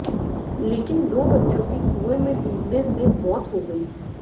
लेकिन दो बच्चों की कुएं में डूबने से मौत हो गई